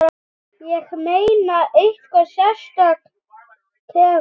Ég meina, einhver sérstök tegund?